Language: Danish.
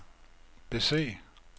bese